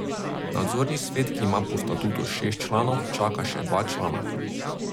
Nadzorni svet, ki ima po statutu šest članov, čaka še dva člana.